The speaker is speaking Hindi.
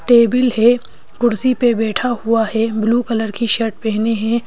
टेबल है कुर्सी पे बैठा हुआ है ब्लू कलर की शर्ट पहने है।